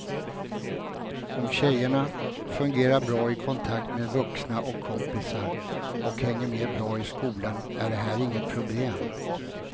Om tjejerna fungerar bra i kontakt med vuxna och kompisar och hänger med bra i skolan är det här inget problem.